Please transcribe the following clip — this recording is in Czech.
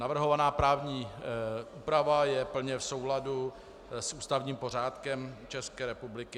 Navrhovaná právní úprava je plně v souladu s ústavním pořádkem České republiky.